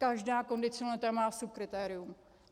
Každá kondicionalita má subkritérium.